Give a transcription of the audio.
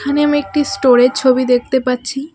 এখানে আমি একটি স্টোরের ছবি দেখতে পাচ্ছি.